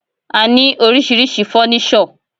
A ní oríṣiríṣi fọ́nísọ̀.